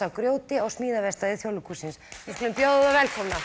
af grjóti á smíðaverkstæði Þjóðleikhússins við skulum bjóða þá velkomna